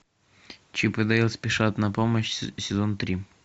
чип и дейл спешат на помощь сезон три